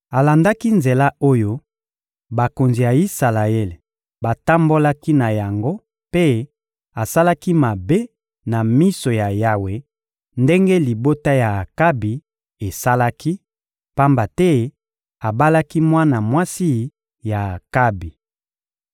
Alandaki nzela oyo bakonzi ya Isalaele batambolaki na yango mpe asalaki mabe na miso ya Yawe ndenge libota ya Akabi esalaki, pamba te abalaki mwana mwasi ya Akabi.